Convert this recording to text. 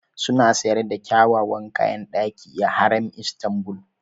Suna sayar da kyawawan kayan ɗaki a Harem Istanbul.